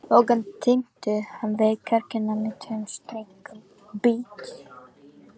Bogann tengdi hann við kirkjuna með tveim strikum.